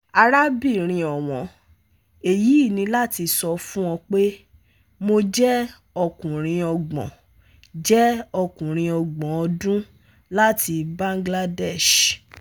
Arábìnrin ọ̀wọ́n, Èyí ni láti sọ fún ọ pé, mo jẹ́ ọkùnrin ọgbọ̀n jẹ́ ọkùnrin ọgbọ̀n ọdún láti Bangladesh